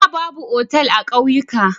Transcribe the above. Da, babu otal a kauyuka.